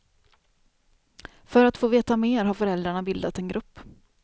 För att få veta mer har föräldrarna bildat en grupp.